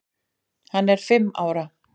Hann er fimm ára.